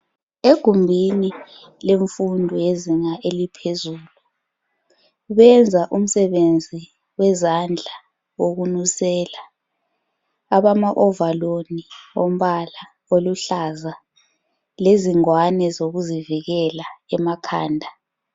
Ekugumbini lemfundo yezinga eliphezulu benza umsebenzi wezandla wokunusela abamaovaloli wombala oluhlaza lezingwane zokuzivikela emakhanda.